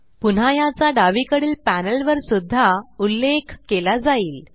पुन्हाह्याचा डावीकडील पॅनल वर सुद्धा उल्लेख केला जाईल